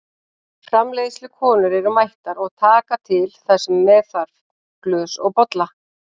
Framreiðslukonur eru mættar og taka til það sem með þarf, glös og bolla.